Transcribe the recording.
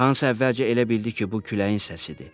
Hans əvvəlcə elə bildi ki, bu küləyin səsidir.